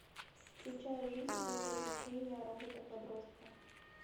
включай жизнь и приключения робота подростка